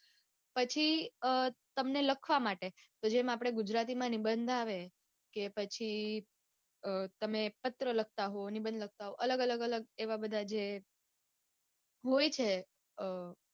પછી તમને લખવા માટે તો જેમ આપડે ગુજરાતી માં નિબંધ આવે કે પછી તમે પત્ર લખતા હોય ને નિબંધ લખતા હોવ અલગ અલગ અલગ એવા બધા જે હોય છે અઅ